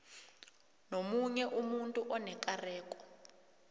nomunye umuntu onekareko